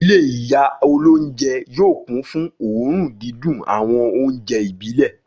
Ilé ìyá olóúnjẹ yóò kún fún òórùn dídùn àwọn oúnjẹ ìbílẹ̀.